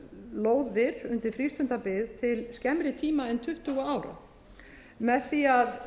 lóðir undir frístundabyggð til skemmri tíma en tuttugu ára með því að